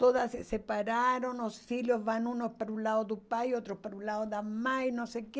Todas se separaram, os filhos vão uns para o lado do pai, outros para o lado da mãe, não sei o quê.